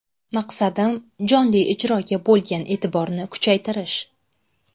Maqsadim jonli ijroga bo‘lgan e’tiborni kuchaytirish.